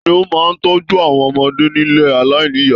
Tani o máa n tọjú àwọn ọmọdé nílé aláìníya?